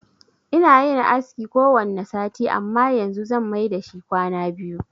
Ina yin aski kowanne sati amma yanzu zan mai dashi kwana biyu.